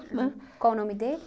Né? Qual o nome dele?